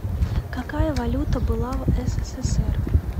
какая валюта была в ссср